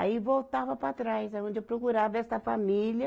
Aí voltava para trás, aonde eu procurava essa família,